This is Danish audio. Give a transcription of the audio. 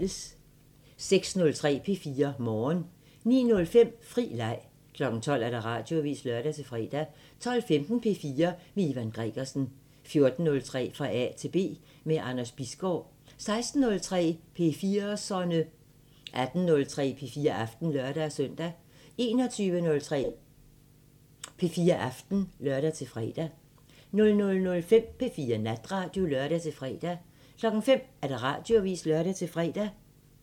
06:03: P4 Morgen 09:05: Fri Leg 12:00: Radioavisen (lør-fre) 12:15: P4 med Ivan Gregersen 14:03: Fra A til B – med Anders Bisgaard 16:03: P4'serne 18:03: P4 Aften (lør-søn) 21:03: P4 Aften (lør-fre) 00:05: P4 Natradio (lør-fre) 05:00: Radioavisen (lør-fre)